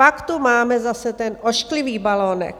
Pak tu máme zase ten ošklivý balonek.